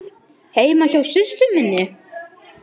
Heima hjá systur minni?